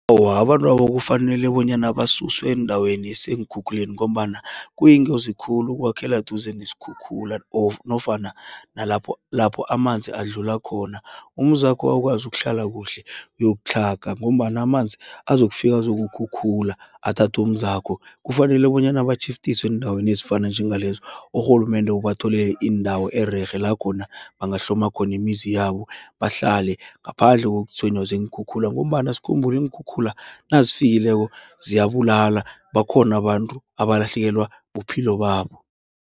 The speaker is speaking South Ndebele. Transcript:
Awa abantwaba kufanele bonyana basuswe eendaweni eseenkhukhuleni, ngombana kuyingozi khulu ukwakhela duze neskhukhula nofana nalapho, lapho amanzi adlula khona. Umzakho akwazi ukuhlala kuhle uyokutlhala, ngombana amanzi azokufika azokukhukhula athathumzakho. Kufanele bonyana batjhiftiswe eendaweni ezifana njengalezo. Urhulumende ubatholele indawo ererhe, lakhona bangahloma khona imizi yabo bahlale, ngaphandle kokutshwenywa ziinkhukhula, ngombana skhumbule iinkhukhula nazifikileko ziyabulala, bakhona abantu abalahlekelwa buphilo babo.